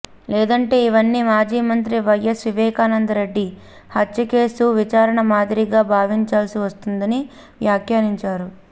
లేదంటే ఇవన్నీ మాజీ మంత్రి వైఎస్ వివేకానంద రెడ్డి హత్య కేసు విచారణ మాదిరిగా భావించాల్సి వస్తుందని వ్యాఖ్యానించారు